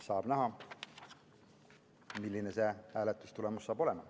Saab näha, milline see hääletustulemus saab olema.